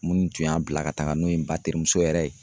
Minnu tun y'a bila ka taga n'o ye n ba terimuso yɛrɛ ye